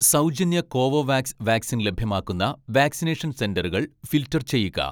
സൗജന്യ Covovax vaccine ലഭ്യമാക്കുന്ന vaccination സെന്ററുകൾ ഫിൽട്ടർ ചെയ്യുക